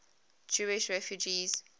jewish refugees